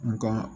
Nga